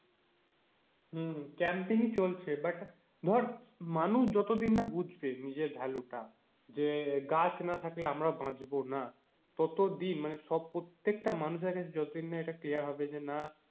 হম campaign ই চলছে but ধর মানুষ যতদিন না বুঝবে নিজের value টা যে গাছ না থাকলে আমরা বাঁচবো না, ততদিন মানে সব প্রত্যেকটা মানুষের কাছে যতদিন না এটা clear হবে যে না,